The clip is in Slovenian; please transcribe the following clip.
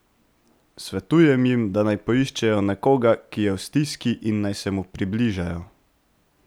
Svetujem jim, da naj poiščejo nekoga, ki je v stiski, in naj se mu približajo.